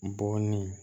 Bɔɔnin